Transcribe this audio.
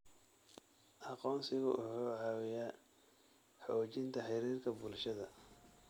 Aqoonsigu wuxuu caawiyaa xoojinta xiriirka bulshada.